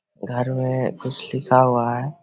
घर में कुछ लिखा हुआ है।